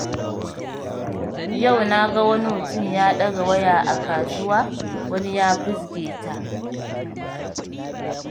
Yau na ga wani mutum ya ɗaga waya a kasuwa, wani ya fizge ta.